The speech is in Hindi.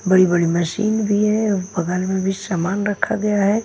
बड़ी बड़ी मशीन भी हैं और बगल में भी सामान रखा गया है।